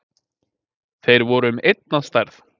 Þeir voru um einn að stærð